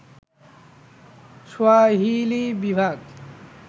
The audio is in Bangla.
সোয়াহিলি বিভাগ